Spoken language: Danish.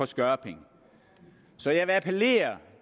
skørping så jeg vil appellere